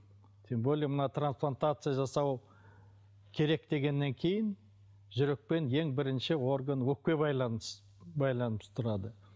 тем более мына трансплантация жасау керек дегеннен кейін жүрекпен ең бірінші орган өкпе байланысып тұрады